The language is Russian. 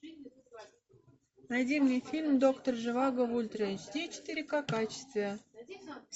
найди мне фильм доктор живаго в ультра эйч ди четыре ка качестве